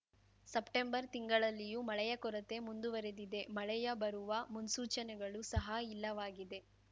September ತಿಂಗಳಲ್ಲಿಯೂ ಮಳೆಯ ಕೊರತೆ ಮುಂದುವರಿದಿದೆ ಮಳೆಯ ಬರುವ ಮುನ್ಸೂಚನೆಗಳು ಸಹ ಇಲ್ಲವಾಗಿದೆ